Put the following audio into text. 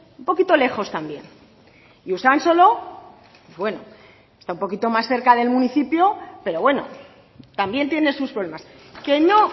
un poquito lejos también y usansolo bueno está un poquito más cerca del municipio pero bueno también tiene sus problemas que no